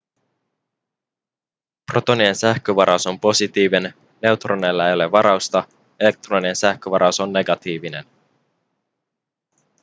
protonien sähkövaraus on positiivinen neutroneilla ei ole varausta elektronien sähkövaraus on negatiivinen